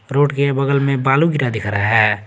Road के बगल में बालू गिरा दिख रहा है।